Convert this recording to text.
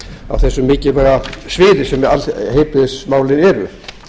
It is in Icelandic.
á þessu mikilvæga sviði sem heilbrigðismálin eru